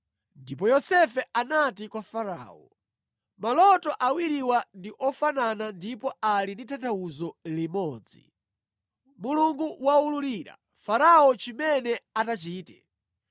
Ndipo Yosefe anati kwa Farao, “Maloto awiriwa ndi ofanana ndipo ali ndi tanthauzo limodzi. Mulungu waululira Farao chimene atachite.